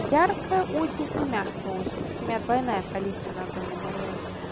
яркая осень и мягкая осень то есть у меня двойная палитра на данный момент